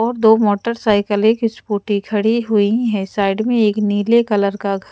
और दो मोटरसाइकल एक स्कूटी खड़ी हुई है साइड में एक नीले कलर का--